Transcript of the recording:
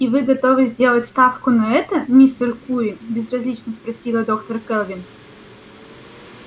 и вы готовы сделать ставку на это мистер куинн безразлично спросила доктор кэлвин